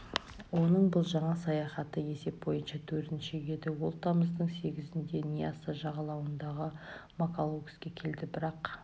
оның бұл жаңа саяхаты есеп бойынша төртінші еді ол тамаздың сегізінде ньясса жағалауындағы мокалаоске келді бірақ